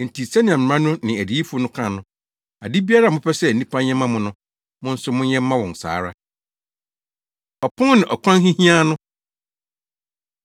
Enti sɛnea mmara no ne adiyifo no ka no, ade biara a mopɛ sɛ nnipa nyɛ mma mo no, mo nso monyɛ mma wɔn saa ara. Ɔpon Ne Ɔkwan Hiahiaa No